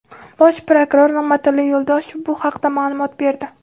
Bosh prokuror Nig‘matilla Yo‘ldoshev bu haqda ma’lumot berdi.